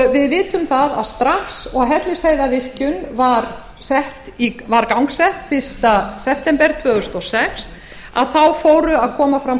við vitum að strax og hellisheiðarvirkjun var gangsett fyrsta september tvö þúsund og sex komu fram